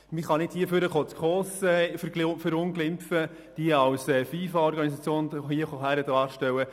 Patrick Freudiger, man kann nicht hier nach vorne kommen und die SKOS verunglimpfen und sie als FIFA-Organisation hinstellen.